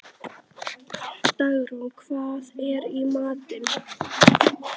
Dagrún, hvað er í matinn?